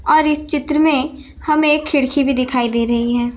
और इस चित्र में हमें एक खिड़की भी दिखाई दे रही है।